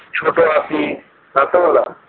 ছোট হাতি